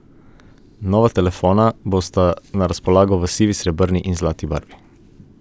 Nova telefona bosta na razpolago v sivi, srebrni in zlati barvi.